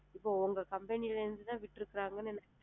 இப்போ உங்க company ல இருந்து தான் fridge எடுக்குறாங்கன்னு